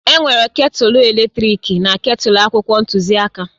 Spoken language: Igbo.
Enwere ketulu eletrik na ketulu akwụkwọ ntuziaka